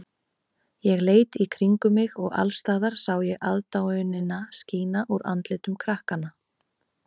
Ég leit í kringum mig og alls staðar sá ég aðdáunina skína úr andlitum krakkanna.